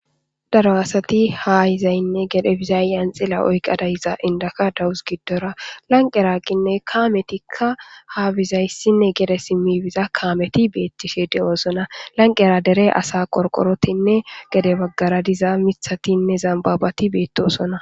Daro asati hahizaynne gede bizaayyan xila oykqa dayiza indaka dawus giddora lanqeraqinne kaametikka haabizayssinne gede simmibiza kaameti beettishe de'oosona lanqera dere asa qorqorotinne gede baggara diza mithatinne zambabati beettosona.